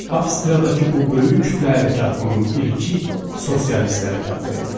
Avstriyadakı bu böyük kütlə hərəkatının ilki sosialist hərəkatı idi.